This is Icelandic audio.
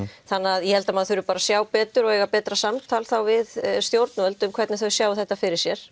þannig að ég held að maður þurfi að sjá betur og fá betra samtal við stjórnvöld um hvernig þau sjá þetta fyrir sér